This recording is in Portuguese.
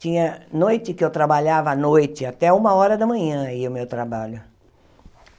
Tinha noite que eu trabalhava à noite, até uma hora da manhã ia o meu trabalho.